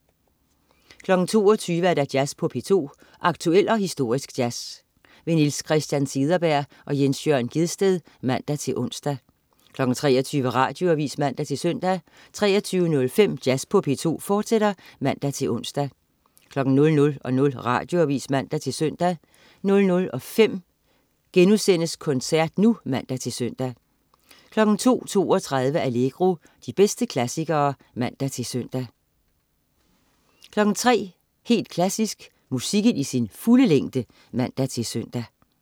22.00 Jazz på P2. Aktuel og historisk jazz. Niels Christian Cederberg/Jens Jørn Gjedsted (man-ons) 23.00 Radioavis (man-søn) 23.05 Jazz på P2, fortsat (man-ons) 00.00 Radioavis (man-søn) 00.05 Koncert nu* (man-søn) 02.32 Allegro. De bedste klassikere (man-søn) 03.00 Helt Klassisk. Musikken i sin fulde længde (man-søn)